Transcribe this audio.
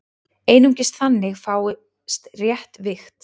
Einungis þannig fáist rétt vigt.